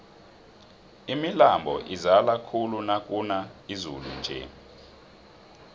imilambo izala khulu nakuna izulu nje